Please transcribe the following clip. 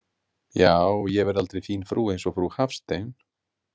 Já, ég verð aldrei fín frú eins og frú Hafstein.